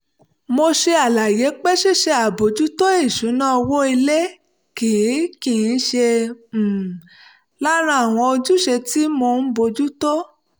mo ṣe àlàyé pé ṣíṣe àbòjútó ìṣúná owó ilé kì í kì í ṣe um lára àwọn ojúṣe tí mò ń bójú tó